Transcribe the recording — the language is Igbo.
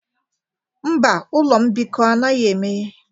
Mba, ụlọ mbikọ anaghị emeghe.